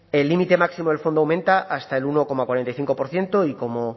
el límite máximo del fondo aumenta hasta el uno coma cuarenta y cinco por ciento y como